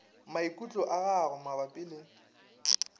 maikutlo a gago mabapi le